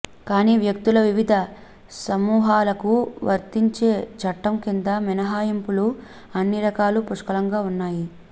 కానీ వ్యక్తుల వివిధ సమూహాలకు వర్తించే చట్టం కింద మినహాయింపులు అన్ని రకాల పుష్కలంగా ఉన్నాయి